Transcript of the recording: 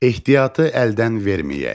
Ehtiyatı əldən verməyək.